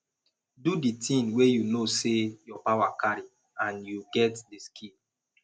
do di thing wey you know sey your power carry and you get di skill